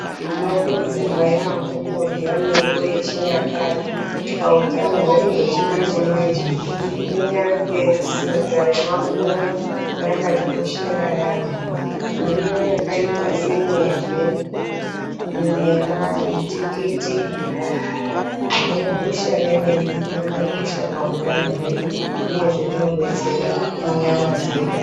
Tinokurudzirwa yaamho kurya mirivo yechinyakare pautano hwedu hwechimanje-manje. Kunyange sadza remafunde rakatikoshera yaamho mirivo yakaita senyeve, munyemba, mutikiti negusha remene rakakosha pautano hwedu rine zverinobetsera munyama dzedu.